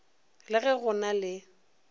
le ge go na le